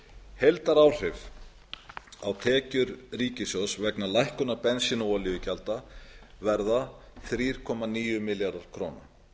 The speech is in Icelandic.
heildaráhrif á tekjur ríkissjóðs vegna lækkunar bensín og olíugjalda verða þrjú komma níu milljarðar króna